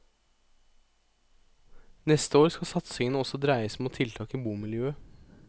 Neste år skal satsingen også dreies mot tiltak i bomiljøet.